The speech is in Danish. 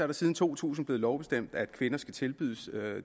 det siden to tusind været lovbestemt at kvinder skal tilbydes